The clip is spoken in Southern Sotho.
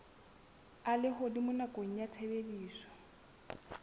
a lehodimo nakong ya tshebediso